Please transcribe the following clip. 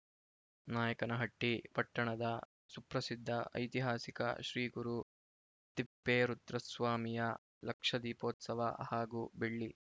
ನಾಯಕನಹಟ್ಟಿ ಪಟ್ಟಣದ ಸುಪ್ರಸಿದ್ದ ಐತಿಹಾಸಿಕ ಶ್ರೀಗುರು ತಿಪ್ಪೇರುದ್ರಸ್ವಾಮಿಯ ಲಕ್ಷದೀಪೋತ್ಸವ ಹಾಗೂ ಬೆಳ್ಳಿ